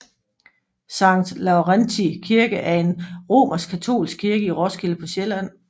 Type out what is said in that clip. Sankt Laurentii Kirke er en romerskkatolsk kirke i Roskilde på Sjælland